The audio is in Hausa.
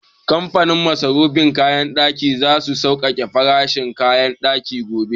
Kamfanin masarufin kayan ɗaki za su sauke farashin kayan ɗaki gobe